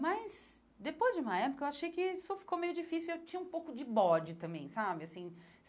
Mas, depois de uma época, eu achei que isso ficou meio difícil e eu tinha um pouco de bode também, sabe assim?